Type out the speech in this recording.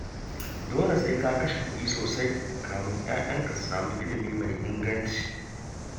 Dole sai ka kashe kuɗi sosai kafin 'ya'yanka su samu ilimi mai inganci